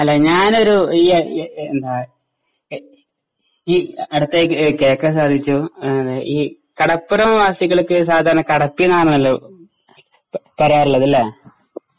അല്ല ഞാൻഒരു ഈ ഈ അടുത്ത് കേളക്കാൻ സാധിച്ചു ഈ കടപ്പുറം വാസികൾക്ക് സാധാരണ കടത്തീന്നാണല്ലോ പറയാറുള്ളത് അല്ലേ?